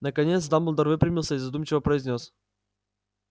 наконец дамблдор выпрямился и задумчиво произнёс